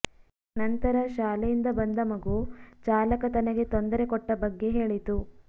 ನಂತರ ಶಾಲೆಯಿಂದ ಬಂದ ಮಗು ಚಾಲಕ ತನಗೆ ತೊಂದರೆ ಕೊಟ್ಟ ಬಗ್ಗೆ ಹೇಳಿತು